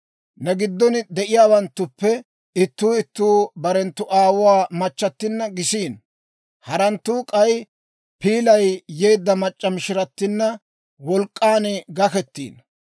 Ne giddon de'iyaawanttuppe ittuu ittuu bare aawuwaa machchattinna gisiino; haratuu k'ay piilay yeedda mac'c'a mishiratina wolk'k'an gakkettiino.